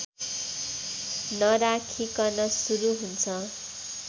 नराखीकन सुरु हुन्छ